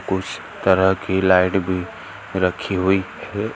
कुछ तरह की लाइट भी रखी हुई है।